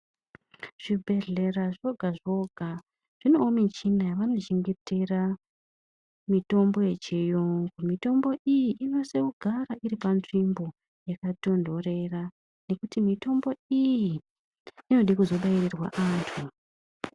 Zvi bhehlera zvoga zvoga zvinewo michina yavano chengetera mitombo ye chiyungu mitombo iyi ino sise kugara iri pa nzvimbo yaka tondorera nekuti mitombo iyi inode kuzo bairirwa antu.